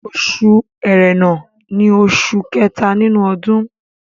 Oṣù Ẹrẹ̀nà ní oṣù kẹta nínú ọdún